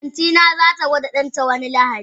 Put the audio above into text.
Antina zata gwada danta wani lahadin.